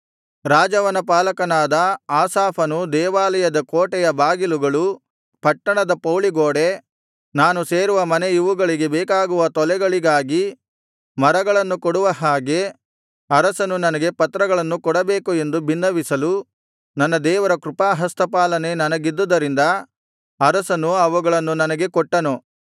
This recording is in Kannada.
ರಾಜವನಪಾಲಕನಾದ ಆಸಾಫನು ದೇವಾಲಯದ ಕೋಟೆಯ ಬಾಗಿಲುಗಳು ಪಟ್ಟಣದ ಪೌಳಿಗೋಡೆ ನಾನು ಸೇರುವ ಮನೆ ಇವುಗಳಿಗೆ ಬೇಕಾಗುವ ತೊಲೆಗಳಿಗಾಗಿ ಮರಗಳನ್ನು ಕೊಡುವ ಹಾಗೆ ಅರಸನು ನನಗೆ ಪತ್ರಗಳನ್ನು ಕೊಡಬೇಕು ಎಂದು ಬಿನ್ನವಿಸಲು ನನ್ನ ದೇವರ ಕೃಪಾಹಸ್ತಪಾಲನೆ ನನಗಿದ್ದುದರಿಂದ ಅರಸನು ಅವುಗಳನ್ನು ನನಗೆ ಕೊಟ್ಟನು